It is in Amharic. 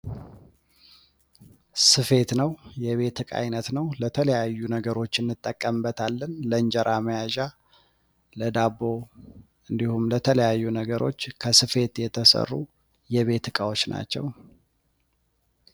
ስፌት ነው የቤት እቃ ዓይነት ነው ለተለያዩ ነገሮችን እንጠቀምበት ለእንጀራ መያዣ ለዳቦ እንዲሁም በተለያዩ ነገሮች ከስፌት የተሰሩ የቤት ዕቃዎች ናቸው።